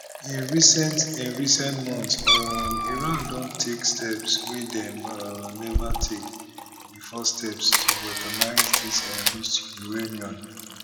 in recent in recent months um iran don take steps wey dem um neva take bifor steps to weaponise dis enriched uranium